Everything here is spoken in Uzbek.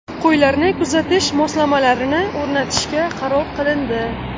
Qo‘ylarni kuzatish moslamalarini o‘rnatishga qaror qilindi.